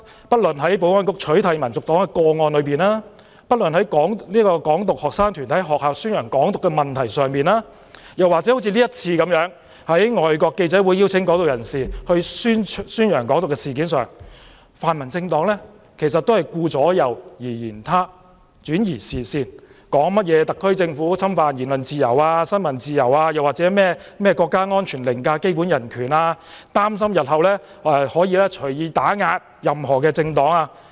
不論是在保安局取締民族黨的個案上，還是在"港獨"學生團體在學校宣傳"港獨"的問題上，或這次外國記者會邀請"港獨"人士宣揚"港獨"的事件上，泛民政黨都是顧左右而言他，轉移視線，說特區政府侵犯言論自由、新聞自由，或國家安全凌駕基本人權，擔心日後可以隨意打壓任何政黨。